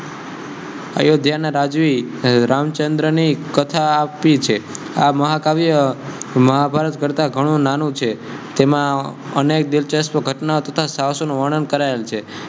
અયોધ્ય ના રાજુઍ રામ્ચ્ન્દ્ર ને કથા આપી છે આ મહાકાવ્ય મહાભારત કર્તા ઘણુ નાનુ છે તેમા અનયાત દિલ્ચસ્બ ઘટ્ના તથા સહ્સકો નુ વણન કરાયેલ છે.